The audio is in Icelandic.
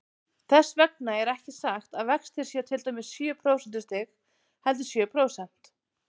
Þess vegna er ekki sagt að vextir séu til dæmis sjö prósentustig, heldur sjö prósent.